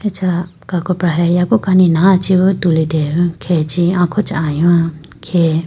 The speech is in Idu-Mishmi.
Acha kakopra he yaku kani naga do tulitelayibo khege chi akho chaha lowa khe.